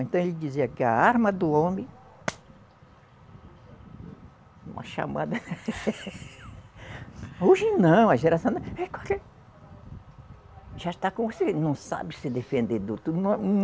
Então ele dizia que a arma do homem Uma chamada Hoje não, a geração é Já está, não sabe se defender do outro. Tudo